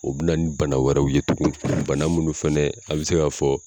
O bɛ na ni bana wɛrɛw ye tugun bana munnu fɛnɛ an bɛ se k'a fɔ